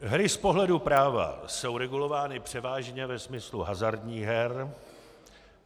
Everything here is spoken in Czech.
Hry z pohledu práva jsou regulovány převážně ve smyslu hazardních her.